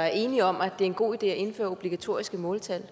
er enige om at det er en god idé at indføre obligatoriske måltal